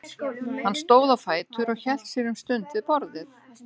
Hann stóð á fætur og hélt sér um stund við borðið.